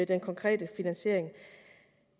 den konkrete finansiering